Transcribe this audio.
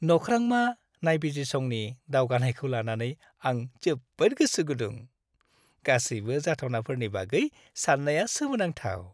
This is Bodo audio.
नख्रांमा नायबिजिरसंनि दावगानायखौ लानानै आं जोबोद गोसो गुदुं। गासैबो जाथावनाफोरनि बागै साननाया सोमोनांथाव।